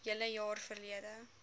hele jaar verlede